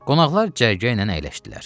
Qonaqlar cərgə ilə əyləşdilər.